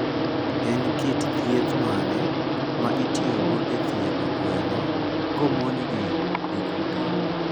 En kit thieth mane ma itiyogo e thiedho gwen komonjgi gi kute?